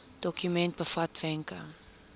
dokument bevat wenke